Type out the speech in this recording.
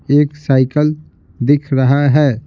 एक साइकिल दिख रहा है।